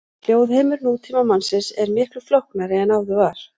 Hljóðheimur nútímamannsins er miklu flóknari en áður var.